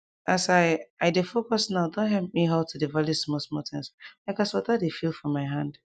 as i i dey focus nowe don help me halt to dey value small small things like as water dey feel for my hand